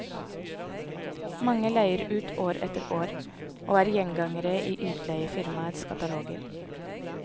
Mange leier ut år etter år, og er gjengangere i utleiefirmaenes kataloger.